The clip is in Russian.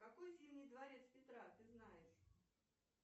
какой зимний дворец петра ты знаешь